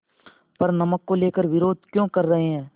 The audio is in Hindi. पर नमक को लेकर विरोध क्यों कर रहे हैं